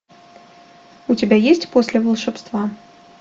у тебя есть после волшебства